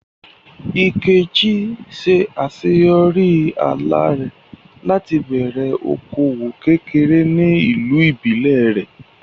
Nkechi ṣe àṣeyọrí àlá rẹ̀ láti bẹ̀rẹ̀ okòwò kékeré ní ìlú ìbílẹ̀ rẹ̀.